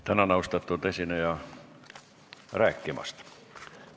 Tänan, austatud esineja, rääkimast!